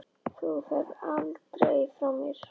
Þú ferð aldrei frá mér.